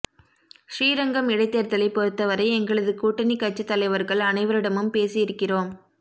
ஸ்ரீரங்கம் இடைத்தேர்தலை பொறுத்தவரை எங்களது கூட்டணி கட்சி தலைவர்கள் அனைவரிடமும் பேசி இருக்கிறோம்